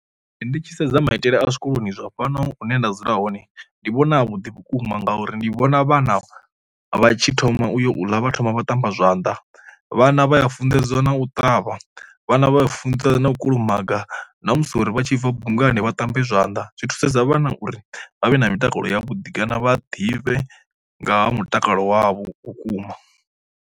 Ndi tshi sedza maitele a zwikoloni zwa fhano hune nda dzula hone ndi vhona vhuḓi vhukuma ngauri ndi vhona vhana vha tshi thoma uyo ḽa vha thoma vha tamba zwanda, vhana vha ya funḓedziwa na u ṱavha, vhana vha funesa na u kulumaga ṋamusi uri vha tshi bva bungani vha ṱambe zwanḓa zwi thusedza vhana uri vha vhe na mitakalo ya vhuḓi kana vha ḓivhe nga ha mutakalo wavho vhukuma.